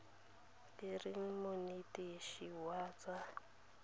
e reng monetetshi wa tsa